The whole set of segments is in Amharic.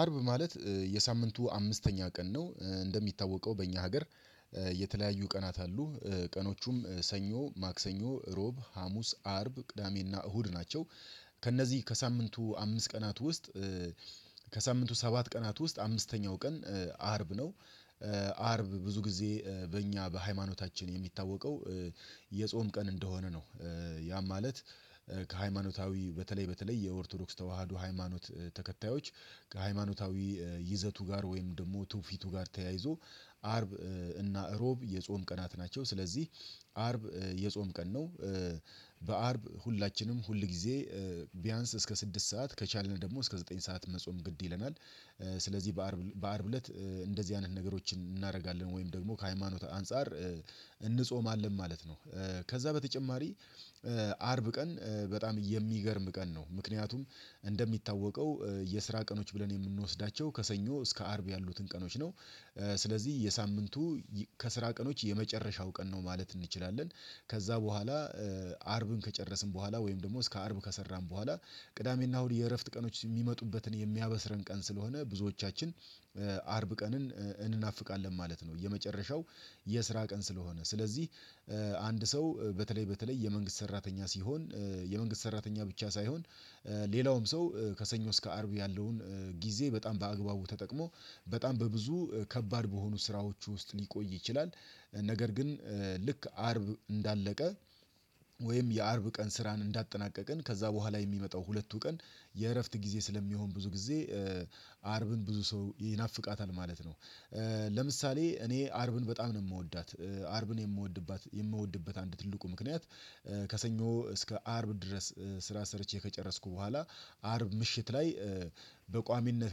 አርብ ማለት የሳምንቱ አምስተኛ ቀን ነው። እንደሚታወቀው በእኛ ሀገር የተለያዩ ቀናት አሉ ቀኖቹም ሰኞ ማክሰኞ እሮብ ሀሙስ አርብ ቅዳሜና እሁድ ናቸው። ከእነዚህ ከሳምንቱ አምስት ቀናት ውስጥ ከሳምንቱ ሰባት ቀናት ውስጥ አምስተኛው ቀን አርብ ነው። አርብ ብዙ ጊዜ በእኛ በሃይማኖታችን የሚታወቀው የጾም ቀን እንደሆነ ነው። ያም ማለት ከሃይማኖታዊ በተለይ በተለይ የኦርቶዶክስ ተዋህዶ ሃይማኖት ተከታዮች ከሃይማኖታዊ ይዘቱ ጋር ወይም ደግሞ ትውፊቱ ጋር ተያይዞ አርብ እና እሮብ የጾም ቀናት ናቸው ስለዚህ አርብ የጾም ቀን ነው። በአርብ ሁላችንም ሁል ጊዜ ቢያንስ እስከ ስድስት ሰዓት ከቻልን ደግሞ እስከ ዘጠኝ ሰዓት መጾም ግድ ይለናል። ስለዚህ በአርብ በአርብ እለት እንደዚህ አይነት ነገሮችን እናደርጋለን ወይም ደግሞ ከሃይማኖት አንፃር እንጾማለን ማለት ነው። ከዛ በተጨማሪ አርብ ቀን በጣም የሚገርም ቀን ነው። ምክንያቱም እንደሚታወቀው የስራ ቀኖች ብለን የምንወስዳቸው ከሰኞ እስከ አርብ ያሉትን ቀኖች ነው። ስለዚህ የሳምንቱ ከስራ ቀኖች የመጨረሻው ቀን ነው ማለት እንችላለን። ከዛ በኋላ አርብን ከጨረስን በኋላ ወይም ደግሞ እስከ አርብ ከሰራን በኋላ ቅዳሜና እሁድ የእረፍት ቀኖች የሚመጡበትን የሚያበስረን ቀን ስለሆነ ብዙዎቻችን አርብ ቀንን እናፍቃለን ማለት ነው። የመጨረሻው የስራ ቀን ስለሆነ ስለዚህ አንድ ሰው በተለይ በተለይ የመንግስት ሰራተኛ ሲሆን የመንግስት ሰራተኛ ብቻ ሳይሆን ሌላውም ሰው ከሰኞ እስከ አርብ ያለውን ጊዜ በጣም በአግባቡ ተጠቅሞ በጣም በብዙ ከባድ በሆኑ ስራዎች ውስጥ ሊቆይ ይችላል። ነገር ግን ልክ አርብ እንዳለቀ ወይም የአርብ ቀን ስራን እንዳጠናቀቅን ከዛ በኋላ የሚመጣው ሁለቱ ቀን የእረፍት ጊዜ ስለሚሆን ብዙ ጊዜ አርብን ብዙ ሰው ይናፍቃታል ማለት ነው። ለምሳሌ እኔ አርብን በጣም ነው የምወዳት አርብን የምወድባት የምወድበት አንድ ትልቁ ምክንያት ከሰኞ እስከ አርብ ድረስ ስራ ሰርቼ ከጨረስኩ በኋላ አርብ ምሽት ላይ በቋሚነት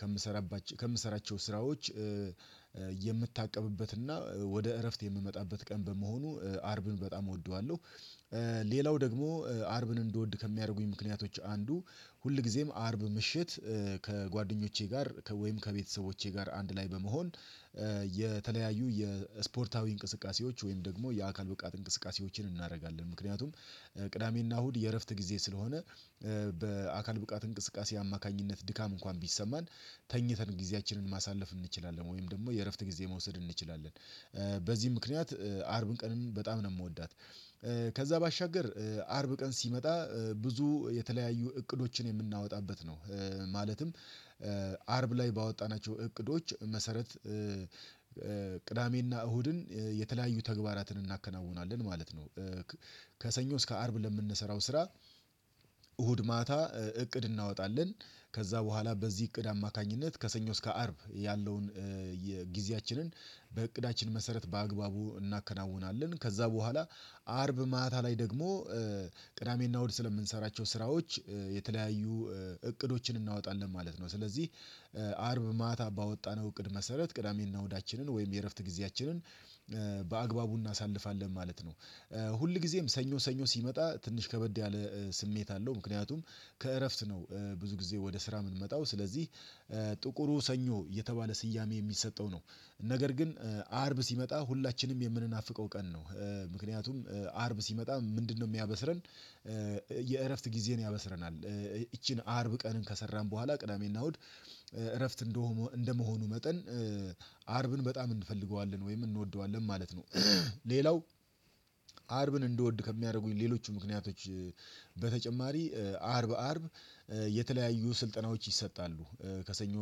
ከምሰራባቸ ከምሰራባቸው ስራዎች የምታቀብበትና ወደ እረፍት የምመጣበት ቀን በመሆኑ አርብን በጣም እወደዋለሁ። ሌላው ደግሞ አርብን እንድወድ ከሚያደርጉኝ ምክንያቶች አንዱ ሁልጊዜም አርብ ምሽት ከጓደኞቼ ጋር ወይም ከቤተሰቦቼ ጋር አንድ ላይ በመሆን የተለያዩ የስፖርታዊ እንቅስቃሴዎች ወይም ደግሞ የአካል ብቃት እንቅስቃሴዎችን እናደርጋለን። ምክንያቱም ቅዳሜና እሁድ የእረፍት ጊዜ ስለሆነ በአካል ብቃት እንቅስቃሴ አማካኝነት ድካም እንኳን ቢሰማን ተኝተን ጊዜያችንን ማሳለፍ እንችላለን ወይም ደግሞ የእረፍት ጊዜ መውሰድ እንችላለን። በዚህ ምክንያት አርብን ቀንን በጣም ነው የምወዳት። ከዛ ባሻገር አርብ ቀን ሲመጣ ብዙ የተለያዩ እቅዶችን የምናወጣበት ነው ማለትም አርብ ላይ ባወጣናቸው እቅዶች መሰረት ቅዳሜና እሁድን የተለያዩ ተግባራትን እናከናውናለን ማለት ነው። ከሰኞ እስከ አርብ ለምንሰራው ስራ እሁድ ማታ እቅድ እናወጣለን። ከዛ በኋላ በዚህ እቅድ አማካኝነት ከሰኞ እስከ አርብ ያለውን የጊዜያችንን በእቅዳችን መሰረት በአግባቡ እናከናውናለን ከዛ በኋላ አርብ ማታ ላይ ደግሞ ቅዳሜና እሁድ ስለምንሰራቸው ስራዎች የተለያዩ እቅዶችን እናወጣለን ማለት ነው። ስለዚህ አርብ ማታ ባወጣነው እቅድ መሰረት ቅዳሜና እሁዳችንን ወይም የእረፍት ጊዜያችንን በአግባቡ እናሳልፋለን ማለት ነው። ሁል ጊዜም ሰኞ ሰኞ ሲመጣ ትንሽ ከበድ ያለ ስሜት አለው ምክንያቱም ከእረፍት ነው ብዙ ጊዜ ወደ ስራ የምንመጣው ስለዚህ ጥቁሩ ሰኞ የተባለ ስያሜ የሚሰጠው ነው። ነገር ግን አርብ ሲመጣ ሁላችንም የምንናፍቀው ቀን ነው ምክንያቱም አርብ ሲመጣ ምንድነው የሚያበስረን? የእረፍት ጊዜን ያበስረናል ይቺን አርብ ቀንን ከሰራን በኋላ ቅዳሜና እሁድ እረፍት እንደሆኑ እንደመሆኑ መጠን አርብን በጣም እንፈልገዋለን ወይም እንወደዋለን ማለት ነው። ሌላው አርብን እንድወድ ከሚያደርጉኝ ሌሎች ምክንያቶች በተጨማሪ አርብ አርብ የተለያዩ ስልጠናዎች ይሰጣሉ። ከሰኞ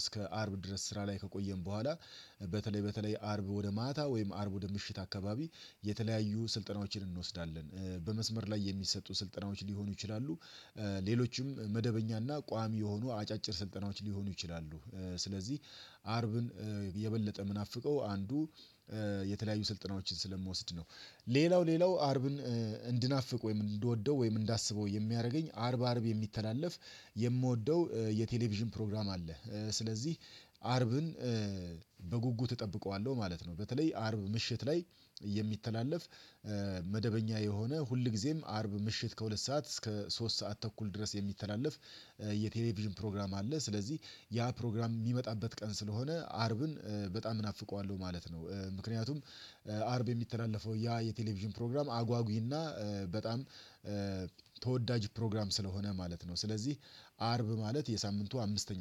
እስከ አርብ ድረስ ስራ ላይ ከቆየን በኋላ በተለይ በተለይ አርብ ወደ ማታ ወይም አርብ ወደ ምሽት አካባቢ የተለያዩ ስልጠናዎችን እንወስዳለን በመስመር ላይ የሚሰጡ ስልጠናዎች ሊሆኑ ይችላሉ። ሌሎችም መደበኛና ቋሚ የሆኑ አጫጭር ስልጠናዎች ሊሆኑ ይችላሉ። ስለዚህ አርብን የበለጠ ምናፍቀው አንዱ የተለያዩ ስልጠናዎችን ስለምወስድ ነው። ሌላው ሌላው አርብን እንድናፍቅ ወይም እንድወደው ወይም እንዳስበው የሚያደርገኝ አርብ አርብ የሚተላለፍ የምወደው የቴሌቪዥን ፕሮግራም አለ። ስለዚህ አርብን በጉጉት እጠብቀዋለሁ ማለት ነው። በተለይ አርብ ምሽት ላይ የሚተላለፍ መደበኛ የሆነ ሁልጊዜም አርብ ምሽት ከሁለት ሰዓት እስከ ሶስት ሰዓት ተኩል ድረስ የሚተላለፍ የቴሌቪዥን ፕሮግራም አለ። ስለዚህ ያ ፕሮግራም የሚመጣበት ቀን ስለሆነ አርብን በጣም ናፍቀዋለሁ ማለት ነው። ምክንያቱም አርብ የሚተላለፈው ያ የቴሌቪዥን ፕሮግራም አጓጉይና በጣም ተወዳጅ ፕሮግራም ስለሆነ ማለት ነው። ስለዚህ አርብ ማለት የሳምንቱ አምስተኛ